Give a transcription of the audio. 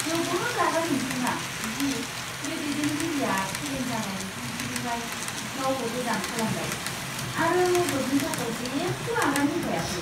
जोबोद रागा जोंथावना दि बे दैदेनगिरिया फेलें जानाय बिथांखिनिफ्राय गावखौ गोजान खालामबाय आरो मददनि थाखाय जेबो आगान होफैयाखै।